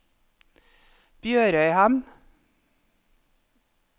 BjørØyhamn